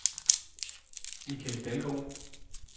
Michael Dalgaard